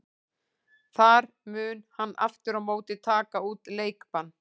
Þar mun hann aftur á móti taka út leikbann.